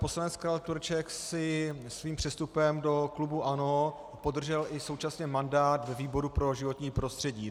Poslanec Karel Tureček si svým přestupem do klubu ANO podržel i současně mandát ve výboru pro životní prostředí.